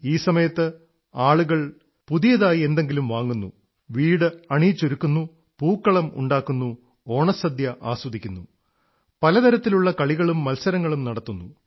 ഈ സമയത്ത് ആളുകൾ പുതിയതായി എന്തെങ്കിലും വാങ്ങുന്നു വീട് അണിയിച്ചൊരുക്കുന്നു പൂക്കളമുണ്ടാക്കുന്നു ഓണസദ്യ ആസ്വദിക്കുന്നു പലതരത്തിലുള്ള കളികളും മത്സരങ്ങളും നടത്തുന്നു